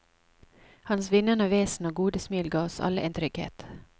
Hans vinnende vesen og gode smil ga oss alle en trygghet.